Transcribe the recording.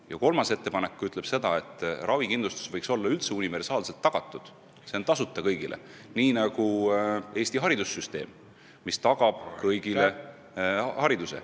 See oli ettepanek, et ravikindlustus võiks Eestis olla üldse universaalselt tagatud – see võiks olla kõigile tasuta, nii nagu on haridus.